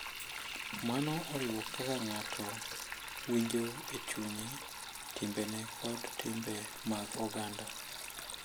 Mano oriwo kaka ng’ato winjo e chunye, timbene, kod timbe mag oganda.